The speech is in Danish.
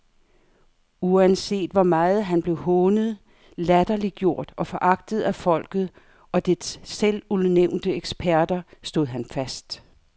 Uanset hvor meget han blev hånet, latterliggjort og foragtet af folket og dets selvudnævnte eksperter, stod han fast.